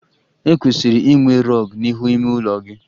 E kwesịrị inwe rug n'ihu ime ụlọ gị